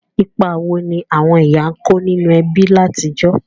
Ìpa wo ni àwon ìyá n ko ninú ebí látijọ̀?